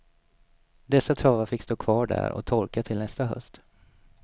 Dessa travar fick stå kvar där och torka till nästa höst.